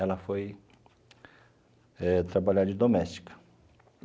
Ela foi eh trabalhar de doméstica.